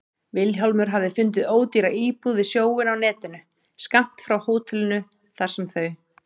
Vilhjálmur hafði fundið ódýra íbúð við sjóinn á netinu, skammt frá hótelinu þar sem þau